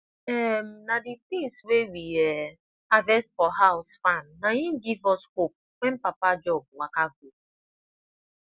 um na the things wey we um harvest for house farm na im give us hope when papa job waka go